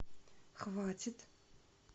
хватит